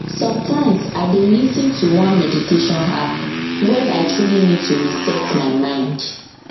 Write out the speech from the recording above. sometimes i dey lis ten to one meditation app when i truly need to reset my mind